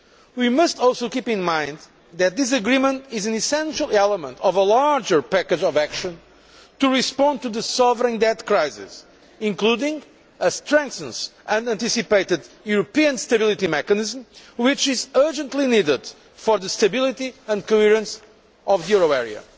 We must also keep in mind that this agreement is an essential element of a larger package of action to respond to the sovereign debt crisis, including a strengthened and anticipated European Stability Mechanism, which is urgently needed for the stability and coherence of the euro area.